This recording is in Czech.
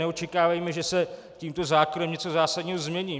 Neočekávejme, že se tímto zákonem něco zásadního změní.